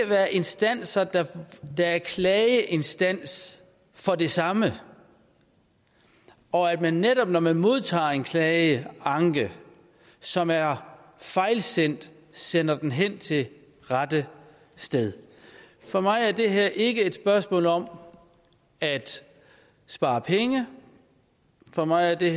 være instanser der er klageinstans for det samme og at man netop når man modtager en klage anke som er fejlsendt sender den hen til det rette sted for mig er det her ikke et spørgsmål om at spare penge for mig er det